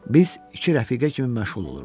Biz iki rəfiqə kimi məşğul olurduq.